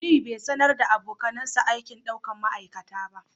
Aliyu bai sanar da abokansa aikin daukar ma'aikata ba